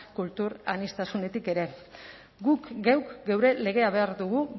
kultur aniztasunetik ere guk geuk geure legea behar dugu